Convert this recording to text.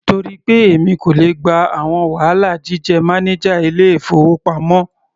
Torí pé èmi kò le gba àwọn wàhálà jíjẹ́ mánájà ilé-ìfowópamọ́.